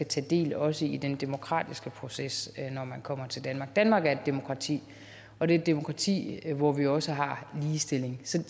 tage del også i den demokratiske proces når man kommer til danmark danmark er et demokrati og det er et demokrati hvor vi også har ligestilling så